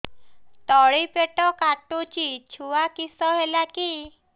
ତଳିପେଟ କାଟୁଚି ଛୁଆ କିଶ ହେଲା କି